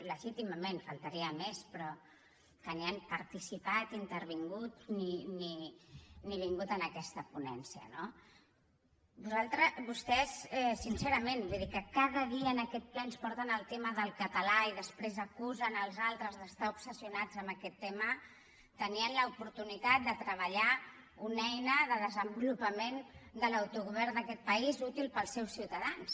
legítimament només faltaria però que ni han participat ni intervingut ni vingut en aquesta ponència no vostès sincerament vull dir que cada dia en aquest ple ens porten el tema del català i després acusen els altres d’estar obsessionats amb aquest tema tenien l’oportunitat de treballar una eina de desenvolupament de l’autogovern d’aquest país útil per als seus ciutadans